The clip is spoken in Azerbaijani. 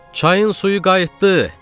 Çayın suyu qayıtdı!